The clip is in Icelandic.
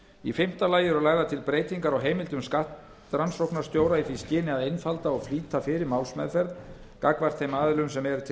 í fimmta lagi eru lagðar til breytingar á heimildum skattrannsóknarstjóra í því skyni að einfalda og flýta fyrir málsmeðferð gagnvart þeim aðilum sem eru til